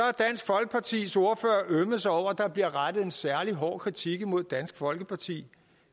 ømmet sig over at der bliver rettet en særlig hård kritik imod dansk folkeparti